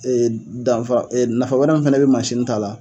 danfara nafa wɛrɛ min fana bɛ ta la